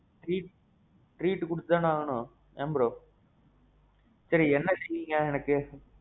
treat. treat குடுத்து தானே ஆகணும் ஏன் bro? சேரி என்ன செய்யிறீங்க எனக்கு?